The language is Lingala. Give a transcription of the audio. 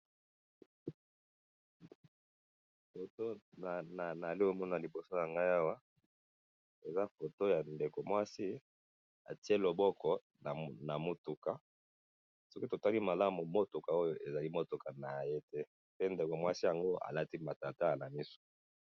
Photo naali komona liboso na nga awa. Eza photo ya ndeko mwasi, atie loboko na mutuka. Soki totali malamu, mutuka Oyo ezali mutuka na ye te. Pe ndeko mwasi ango a lati matalatala na misu